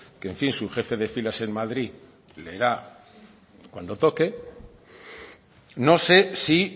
que en fin su jefe de filas en madrid leerá cuando toque no sé si